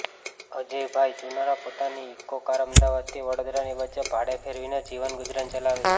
અજયભાઈ ચુનારા પોતાની Eco car અમદાવાદથી વડોદરાની વચ્ચે ભાડે ફેરવીને જીવન ગુજરાન ચલાવે છે